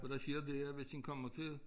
Og der sker det at hvis en kommer til